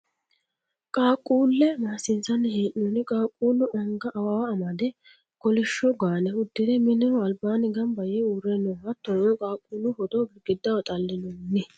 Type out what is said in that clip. Qaaqquulle maassiinsanni hee'noonni. Qaaqquullu anga awawa amade kolishsho gaane uddire mineho albaanni Gamba Yee uurre no. Hattono qaaquullu footo gidigiddaho xallinoonni.